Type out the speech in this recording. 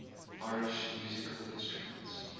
irish musical instruments